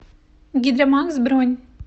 гидромакс бронь